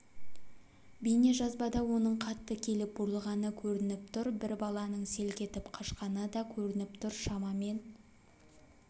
бейнежазбада оның қатты келіп бұрылғаны көрініп тұр бір баланың селк етіп қашқаны да көрініп тұр шамамен